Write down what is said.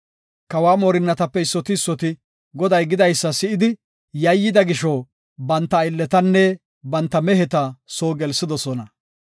Kawa moorinatape issoti issoti Goday gidaysa si7idi yayyida gisho, banta aylletanne banta meheta soo gelsidosona.